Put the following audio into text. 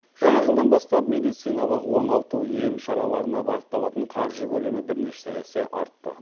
жаңа жылдан бастап медициналық оңалту ем шараларына бағытталатын қаржы көлемі бірнеше есе артты